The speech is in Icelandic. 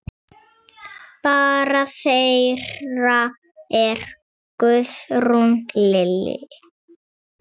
Barn þeirra er Guðrún Lillý.